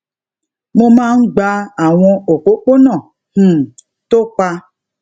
mo máa ń gba àwọn òpópónà um tó pa